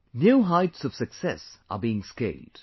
New heights of success are being scaled